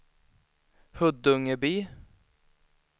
Huddungeby